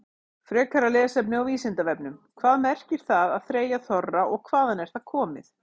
Frekara lesefni á Vísindavefnum: Hvað merkir það að þreyja þorra og hvaðan er það komið?